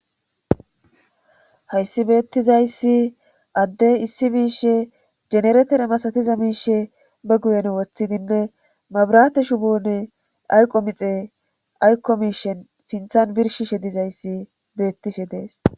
Hayssi beettizayssi addey issi miishe generetere masatiza miishe ba guyen woththidinne mabrate shubone ayqo mixe ayko miishen pinthan birshishe dizayssi beettishe dees.